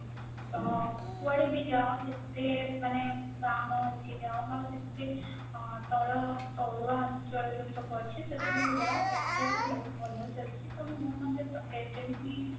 କାରଣ କୁଆଡେ ବି ଜାଅ ଯେତେ ମାନେ ଗା ଗହଳି ଜାଅ ମାନେ ଯେତେ ତଳୁଆ ଅଞ୍ଚଳ କୁ ଜାଅ ଶେଠି airtel ଟା ବହୁତ ଭଲ ଚାଳୁଛି ପ୍ରାୟ ସମସ୍ତେ airtel ହି